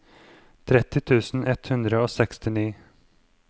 tretti tusen ett hundre og sekstini